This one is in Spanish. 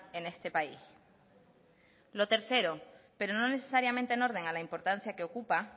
en este país lo tercero pero no necesariamente en orden a la importancia que ocupa